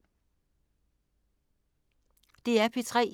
DR P3